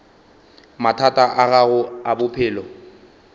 mathata a gago a bophelo